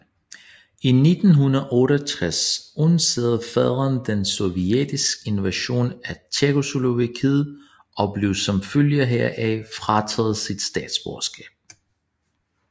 I 1968 undsagde faderen den sovjetiske invasion af Tjekkoslovakiet og blev som følge heraf frataget sit statsborgerskab